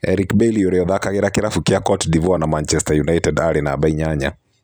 Eric Bailly ũria ũthakagira kĩravũkĩa Cote d'Ivoire na Manchester United arĩ namba inyanya.